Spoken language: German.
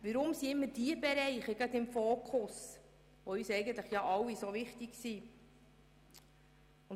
Weshalb sind immer diese Bereiche, die uns allen so wichtig sind, im Fokus?